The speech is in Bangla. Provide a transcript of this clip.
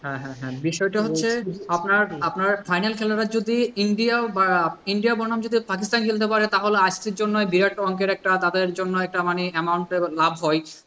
হ্যাঁ হ্যাঁ হ্যাঁ বিষয়টা হচ্ছে বিষয়টা হচ্ছে আপনার, আপনার final খেলাটা যদি ইন্ডিয়া বা ইন্ডিয়া বনাম যদি পাকিস্তান খেলতে পারে তাহলে ICC জন্য বিরাট অংকের একটা তাদের জন্য একটা মানে amount এর লাভ হয়।